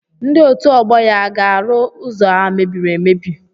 Ndị otu ọgbọ ya a ga-arụ ụzọ a mebiri emebi?